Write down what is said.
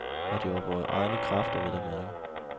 Og det var vore egne kræfter, vel at mærke.